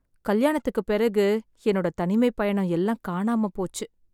கல்யாணத்துக்கு பிறகு எண்ணொட தனிமை பயணம் எல்லாம் காணாம போச்சு